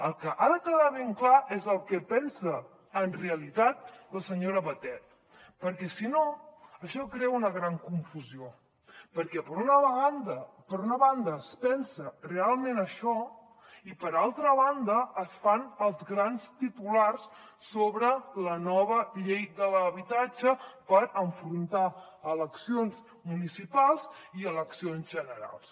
el que ha de quedar ben clar és el que pensa en realitat la senyora batet perquè si no això crea una gran confusió perquè per una banda es pensa realment això i per altra banda es fan els grans titulars sobre la nova llei de l’habitatge per enfrontar eleccions municipals i eleccions generals